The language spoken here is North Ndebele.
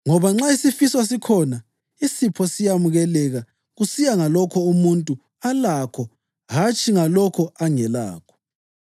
Ngoba nxa isifiso sikhona, isipho siyamukeleka kusiya ngalokho umuntu alakho hatshi ngalokho angelakho.